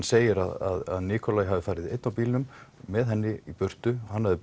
segir að hafi farið einn á bílnum með henni í burtu hann hafi